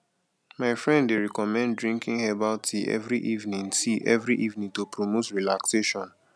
my friend dey recommend drinking herbal tea every evening tea every evening to promote relaxation